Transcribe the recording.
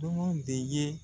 de ye